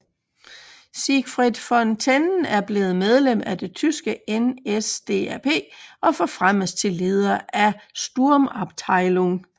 Siegfried von Tennen er blevet medlem af det tyske NSDAP og forfremmes til leder af en sturmabteilung